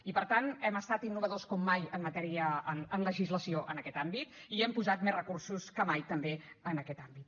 i per tant hem estat innovadors com mai en matèria de legislació en aquest àmbit i hi hem posat més recursos que mai també en aquest àmbit